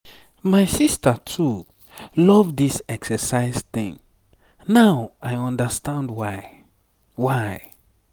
my sister too love this exercise thing now i understand why. why.